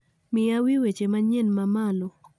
Miya wii weche manyien ma malo